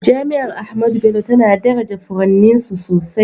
Jami’ar Ahmadu Bello tana daraja furanninsu sosai